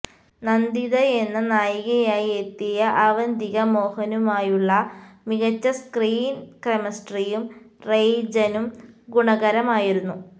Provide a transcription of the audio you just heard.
നന്ദിതയെന്ന നായികയായി എത്തിയ അവന്തിക മോഹനുമായുള്ള മികച്ച സ്ക്രീന് കെമിസ്ട്രിയും റെയ്ജനും ഗുണകരമായിരുന്നു